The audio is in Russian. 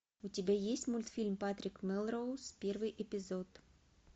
у тебя есть мультфильм патрик мелроуз первый эпизод